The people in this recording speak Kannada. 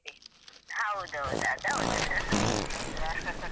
ಹೌದು ಹೌದು ಅದು ಹೌದು.